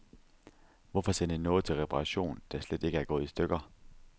Hvorfor sende noget til reparation, der slet ikke er gået i stykker.